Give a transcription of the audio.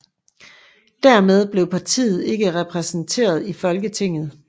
Dermed blev partiet ikke repræsenteret i Folketinget